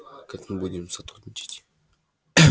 как мы будем сотрудничать